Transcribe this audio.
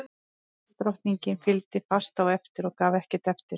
Ísdrottningi fylgdi fast á eftir og gaf ekkert eftir.